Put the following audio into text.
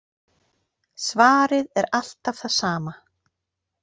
Svarið er alltaf það sama.